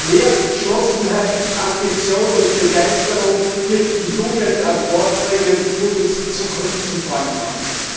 Mehr Entschlossenheit, Ambition und Begeisterung wird die Jugend an Bord bringen und uns die Zukunft zum Freund machen.